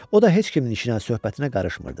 O da heç kimin işinə söhbətinə qarışmırdı.